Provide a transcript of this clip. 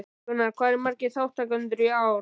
Gunnar, hvað eru margir þátttakendur í ár?